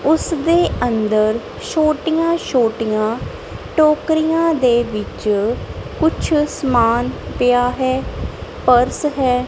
ਉਸ ਦੇ ਅੰਦਰ ਛੋਟੀਆਂ ਛੋਟੀਆਂ ਟੋਕਰੀਆਂ ਦੇ ਵਿੱਚ ਕੁਝ ਸਮਾਨ ਪਿਆ ਹੈ ਪਰਸ ਹੈ।